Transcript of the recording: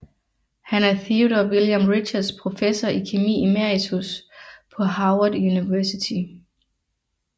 Han er Theodore William Richards Professor i kemi emeritus på Harvard University